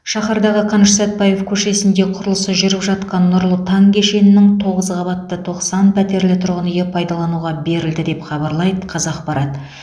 шаһардағы қаныш сәтпаев көшесінде құрылысы жүріп жатқан нұрлы таң кешенінің тоғыз қабатты тоқсан пәтерлі тұрғын үйі пайдалануға берілді деп хабарлайды қазақпарат